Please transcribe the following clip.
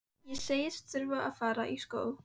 Ég segist þurfa að fara í skó.